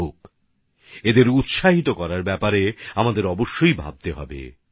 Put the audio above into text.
আমাদেরকে এই বিষয়টিকে উৎসাহিত করার ক্ষেত্রে অব্যশ্যই চিন্তা করা উচিত